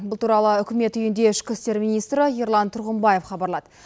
бұл туралы үкімет үйінде ішкі істер министрі ерлан тұрғымбаев хабарлады